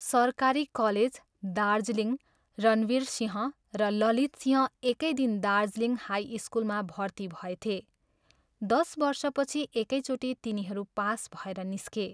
सरकारी कलेज, दार्जीलिङ, रणवीरसिंह र ललितसिंह एकै दिन दार्जीलिङ हाई स्कूलमा भर्ती भएथे, दश वर्षपछि एकैचोटि तिनीहरू पास भएर निस्के।